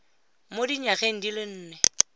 mo dinyageng di le nne